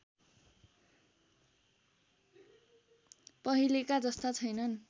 पहिलेका जस्ता छैनन्